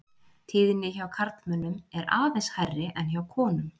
Tíðni hjá karlmönnum er aðeins hærri en hjá konum.